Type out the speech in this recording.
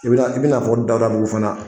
I bɛna i bɛna fɔ Dahudabugu fana.